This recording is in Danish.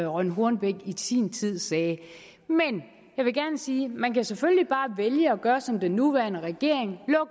rønn hornbech i sin tid sagde men jeg vil gerne sige man kan selvfølgelig bare vælge at gøre som den nuværende regering